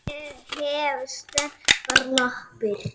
Ég hef sterkar lappir.